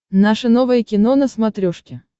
наше новое кино на смотрешке